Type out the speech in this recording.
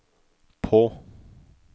på